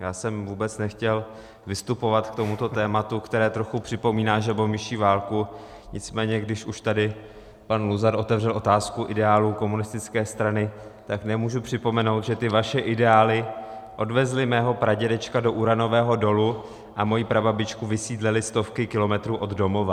Já jsem vůbec nechtěl vystupovat k tomuto tématu, které trochu připomíná žabomyší válku, nicméně když už tady pan Luzar otevřel otázku ideálů komunistické strany, tak nemůžu připomenout, že ty vaše ideály odvezly mého pradědečka do uranového dolu a mou prababičku vysídlily stovky kilometrů od domova.